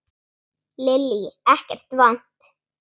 Lillý: Ekkert vont?